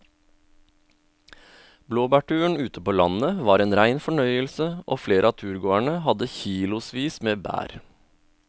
Blåbærturen ute på landet var en rein fornøyelse og flere av turgåerene hadde kilosvis med bær.